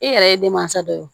E yɛrɛ ye denmansa dɔ ye